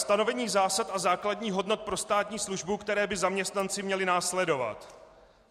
Stanovení zásad a základních hodnot pro státní službu, které by zaměstnanci měli následovat.